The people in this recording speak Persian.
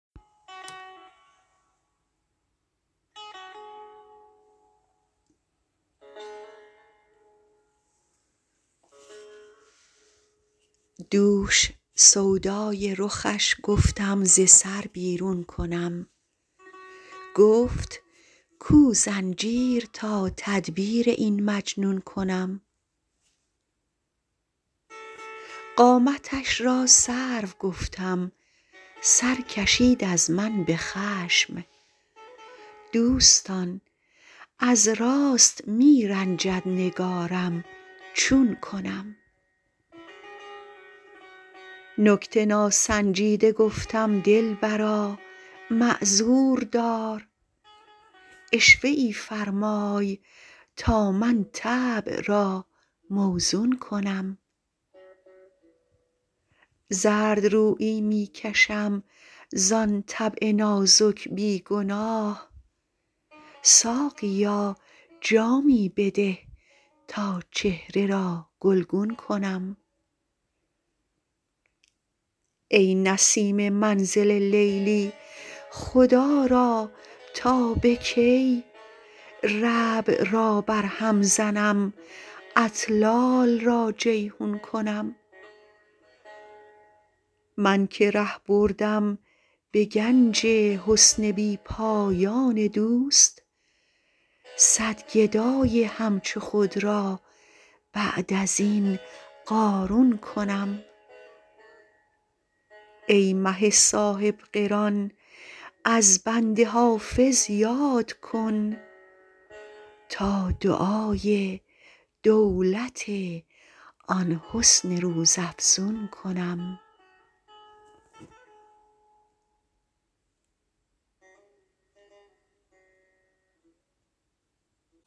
دوش سودای رخش گفتم ز سر بیرون کنم گفت کو زنجیر تا تدبیر این مجنون کنم قامتش را سرو گفتم سر کشید از من به خشم دوستان از راست می رنجد نگارم چون کنم نکته ناسنجیده گفتم دلبرا معذور دار عشوه ای فرمای تا من طبع را موزون کنم زردرویی می کشم زان طبع نازک بی گناه ساقیا جامی بده تا چهره را گلگون کنم ای نسیم منزل لیلی خدا را تا به کی ربع را برهم زنم اطلال را جیحون کنم من که ره بردم به گنج حسن بی پایان دوست صد گدای همچو خود را بعد از این قارون کنم ای مه صاحب قران از بنده حافظ یاد کن تا دعای دولت آن حسن روزافزون کنم